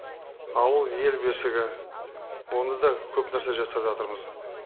ауыл ел бесігі онда да көп нәрсе жасап жатырмыз